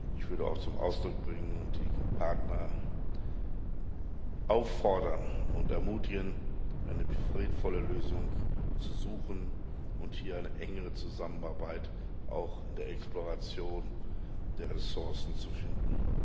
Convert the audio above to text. Ich würde auch zum Ausdruck bringen und die Partner auffordern und ermutigen, eine friedvolle Lösung zu suchen und hier eine engere Zusammenarbeit auch in der Exploration der Ressourcen zu finden.